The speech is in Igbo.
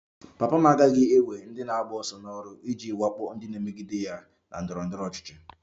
Papa m agaghị ewe ndị na-agba ọsọ n'ọrụ iji wakpo ndị na-emegide ya na ndọrọ ndọrọ ọchịchị